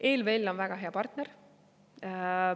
ELVL on väga hea partner.